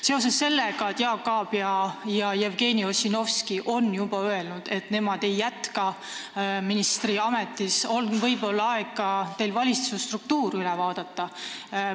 Seoses sellega, et Jaak Aab ja Jevgeni Ossinovski on juba öelnud, et nemad ei jätka ministriametis, on teil võib-olla aeg ka valitsusstruktuur üle vaadata.